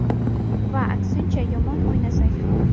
Va aksincha, yomon o‘ynasak ham.